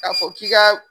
K'a fɔ k'i ka